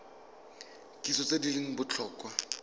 kitso tse di leng botlhokwa